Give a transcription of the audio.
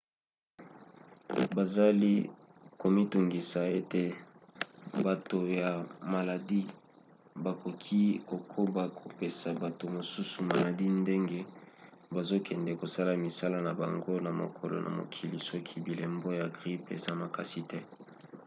bazali komitungisa ete bato ya maladi bakoki kokoba kopesa bato mosusu maladi ndenge bazokende kosala misala na bango ya mokolo na mokoli soki bilembo ya grippe eza makasi te